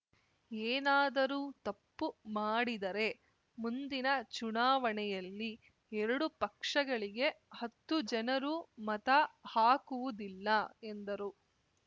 ಏನಾದರೂ ತಪ್ಪು ಮಾಡಿದರೆ ಮುಂದಿನ ಚುನಾವಣೆಯಲ್ಲಿ ಎರಡು ಪಕ್ಷಗಳಿಗೆ ಹತ್ತು ಜನರೂ ಮತ ಹಾಕುವುದಿಲ್ಲ ಎಂದರು